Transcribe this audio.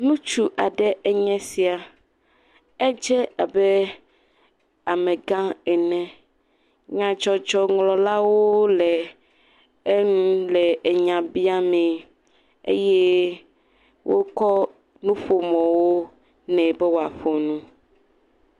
ŋutsu aɖe enye sia. Edze abe amegã ene. Nyadzɔdzɔŋlɔlawo le enu le enya bia mee eye wokɔ nuƒomɔwo nɛ be woaƒo nu.